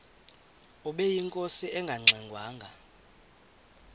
ubeyinkosi engangxe ngwanga